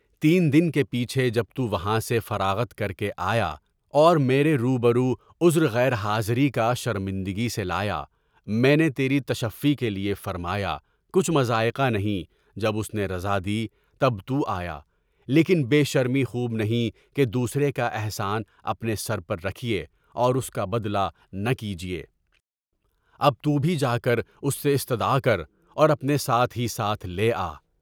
تین دن کے پیچھے جب تُو وہاں سے فراغت کر کے آیا اور میرے روبرو عذرِ غیر حاضری کا شرمندگی سے لایا، میں نے تیری تشفی کے لیے فرمایا، کچھ مضائقہ نہیں، جب اُس نے رضامندی کی تب تُو آیا، لیکن بے شرمی خوب نہیں کہ دوسرے کا احسان اپنے سر پر رکھیے اور اُس کا بدلہ نہ کیجیے، اب تُو بھی جا کر اُس سے استدعا کر اور اپنے ساتھ ہی ساتھ لے آ۔